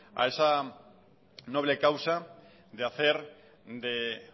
a esa noble causa de hacer de